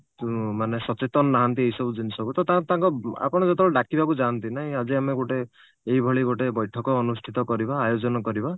ଉଁ ମାନେ ସଚେତନ ନାହାନ୍ତି ଏଇସବୁ ଜିନିଷକୁ ତ ତାହେଲେ ତାଙ୍କ ଆପଣ ଯେତେବେଳେ ଡାକିବାକୁ ଯାଆନ୍ତି ନାଇଁ ଆଜି ଆମେ ଗୋଟେ ଏଇଭଳି ଗୋଟେ ବୈଠକ ଅନୁଷ୍ଠିତ କରିବା ଆୟୋଜନ କରିବା